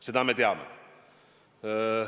Seda me teame.